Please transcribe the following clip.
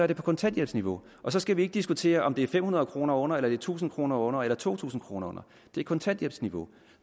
det på kontanthjælpsniveau og så skal vi ikke diskutere om det er fem hundrede kroner under eller tusind kroner under eller to tusind kroner under det er kontanthjælpsniveau